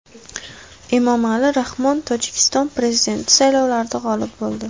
Emomali Rahmon Tojikiston prezidenti saylovlarida g‘olib bo‘ldi.